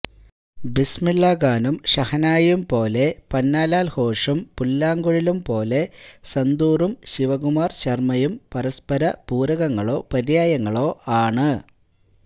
ബിസ്മില്ലാഖാനും ഷഹനായിയും പോലെ പന്നലാൽ ഘോഷും പുല്ലാങ്കുഴലും പോലെ സന്തൂറും ശിവകുമാർ ശർമയും പരസ്പര പൂരകങ്ങളോ പര്യായങ്ങളോ ആണ്